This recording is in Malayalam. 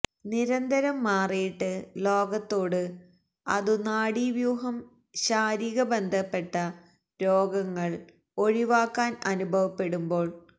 നിരന്തരം മാറിയിട്ട് ലോകത്തോട് അതു നാഡീവ്യൂഹം ശാരിക ബന്ധപ്പെട്ട രോഗങ്ങൾ ഒഴിവാക്കാൻ അനുഭവപ്പെടുമ്പോൾ